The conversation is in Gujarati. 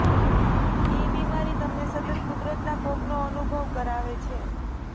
એ બીમારી તમને સતત કુદરતના કોપનો અનુભવ કરાવે છે